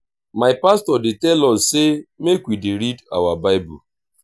my pastor dey tell us sey make we dey read our bible.